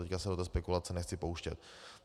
Teď se do této spekulace nechci pouštět.